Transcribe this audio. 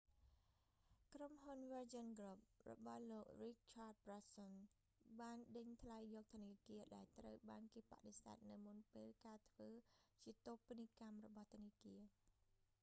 ក្រុមហ៊ុន វើរជីន គ្រុប virgin group របស់លោក រីកឆាត ប្រានសុន richard branson បានដេញថ្លៃយកធនាគារដែលត្រូវបានគេបដិសេធនៅមុនពេលការធ្វើជាតូបនីយកម្មរបស់ធនាគារ